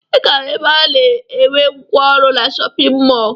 Ị ga-ahụ ebe a na-erw ngwa ọrụ na shọpịn mọọ